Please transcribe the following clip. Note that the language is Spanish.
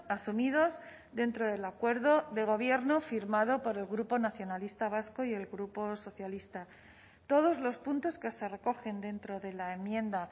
asumidos dentro del acuerdo de gobierno firmado por el grupo nacionalista vasco y el grupo socialista todos los puntos que se recogen dentro de la enmienda